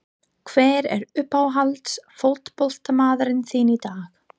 Hver er uppáhalds fótboltamaðurinn þinn í dag?